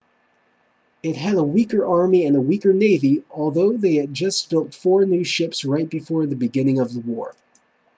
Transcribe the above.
it had a weaker army and a weaker navy although they had just built four new ships right before the beginning of the war